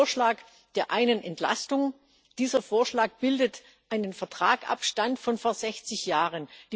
Den Vorschlag der einen Entlastung, dieser Vorschlag bildet einen Vertragsstand von vor 60 Jahren.